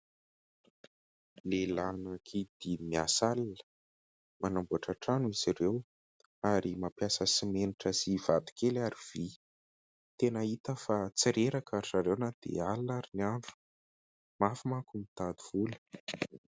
Lehilahy anankidimy miasa alina manamboatra trano izy ireo ary mampiasa simenitra sy vato kely ary vy ; tena hita fa tsy reraka ry zareo na dia alina ary ny andro mafy manko mitady vola.